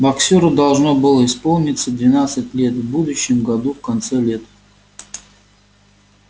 боксёру должно было исполниться двенадцать лет в будущем году в конце лета